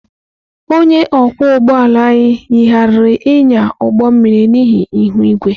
Onye ọkwọ ụgbọ ala anyị yigharịrị ịnya ụgbọ mmiri n'ihi ihu igwe.